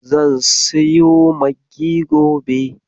Zan siyo maggi gobe.